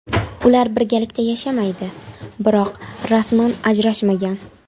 Ular birgalikda yashamaydi, biroq rasman ajrashmagan.